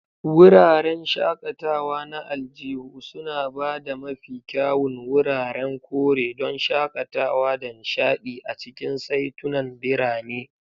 Wuraren shakatawa na aljihu suna ba da mafi kyawun wuraren kore don shakatawa da nishaɗi a cikin saitunan birane.